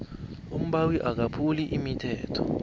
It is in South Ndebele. umbawi akaphuli umthetho